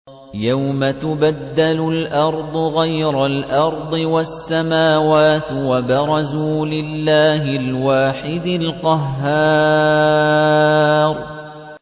يَوْمَ تُبَدَّلُ الْأَرْضُ غَيْرَ الْأَرْضِ وَالسَّمَاوَاتُ ۖ وَبَرَزُوا لِلَّهِ الْوَاحِدِ الْقَهَّارِ